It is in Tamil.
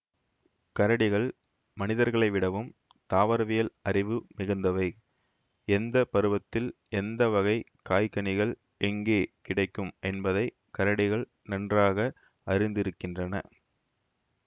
கரடிகள்மனிதர்களைவிடவும் தாவரவியல் அறிவு மிகுந்தவை எந்த பருவத்தில் எந்த வகை காய்கனிகள் எங்கே கிடைக்கும் என்பதை கரடிகள் நன்றாக அறிந்திருக்கின்றன